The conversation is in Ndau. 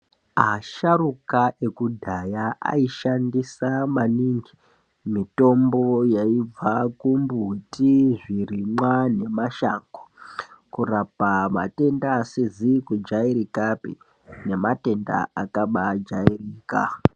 Asharuka ekudhaya aishandisa maningi mutombo yaibva kumbuti zvirimwa nemashango kurapa matenda asizikujairikapi nematenda akajairika.